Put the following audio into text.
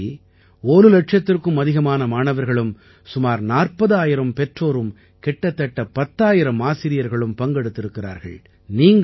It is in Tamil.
இதுவரை ஒரு லட்சத்திற்கும் அதிகமான மாணவர்களும் சுமார் 40000 பெற்றோரும் கிட்டத்தட்ட 10000 ஆசிரியர்களும் பங்கெடுத்திருக்கிறார்கள்